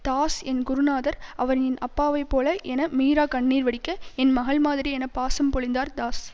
தாஸ் என் குருநாதர் அவர் என் அப்பாவைபோல என மீரா கண்ணீர் வடிக்க என் மகள் மாதிரி என பாசம் பொழிந்தார் தாஸ்